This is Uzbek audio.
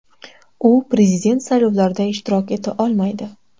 U prezident saylovlarida ishtirok eta olmaydi.